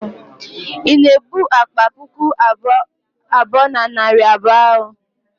ị na-ebu akpa puku abụọ na narị abụọ ahụ?